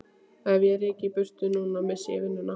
Ef ég ryki í burtu núna missti ég vinnuna.